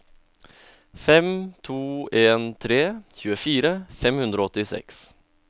fem to en tre tjuefire fem hundre og åttiseks